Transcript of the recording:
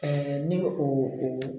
ne bɛ o